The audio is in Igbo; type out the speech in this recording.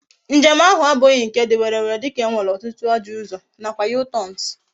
Njem ahu abughi nke di werere dika e nwere otutu ajo uzo na kwa U-turns